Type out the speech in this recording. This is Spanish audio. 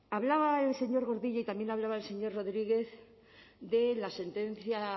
hablaba el señor gordillo y también hablaba el señor rodríguez de la sentencia